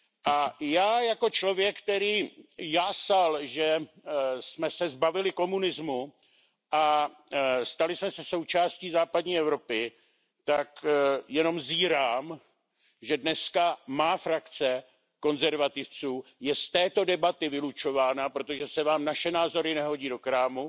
A já jako člověk, který jásal, že jsme se zbavili komunismu a stali jsme se součástí západní Evropy, tak jenom zírám, že dnes má frakce konzervativců je z této debaty vylučována, protože se vám naše názory nehodí do krámu,